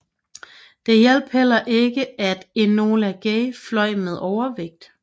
Det hjalp heller ikke at Enola Gay fløj med overvægt